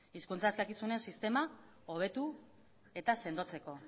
hizkuntza eskakizunen sistema hobetu eta sendotzeko